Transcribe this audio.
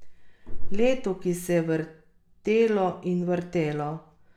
Leto, ki se je vrtelo in vrtelo.